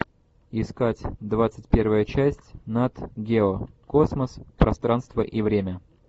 искать двадцать первая часть нат гео космос пространство и время